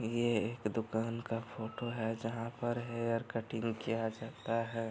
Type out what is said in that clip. ये एक दुकान का फोटो है जहाँ पर हेयर कटिंग किया जाता है।